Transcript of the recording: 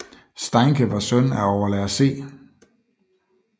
Steincke var søn af overlærer C